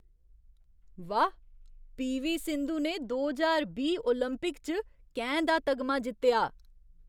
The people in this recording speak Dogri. वाह्, पी. वी. सिंधु ने दो ज्हार बीह् ओलंपिक च कैंह् दा तगमा जित्तेआ।